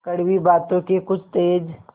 कड़वी बातों के कुछ तेज